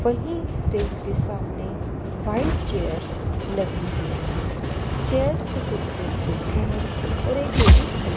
वही स्टेज के सामने व्हाइट चेयर्स लगी हुई है चेयर्स पर कुछ लोग बैठे हैं और एक लेडी खड़ी--